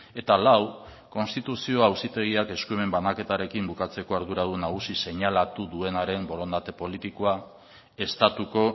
eta lau konstituzio auzitegiak eskumen banaketarekin bukatzeko arduradun nagusi seinalatu duenaren borondate politikoa estatuko